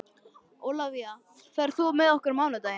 Ólafía, ferð þú með okkur á mánudaginn?